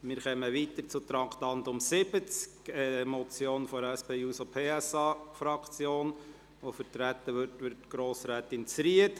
Wir kommen zum Traktandum 70, einer Motion der SP-JUSO-PSA-Fraktion, die von Grossrätin Zryd vertreten wird: